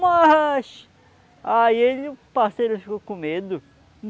Mas... Aí ele, o parceiro, ficou com medo.